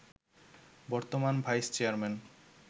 বর্তমান vice chairman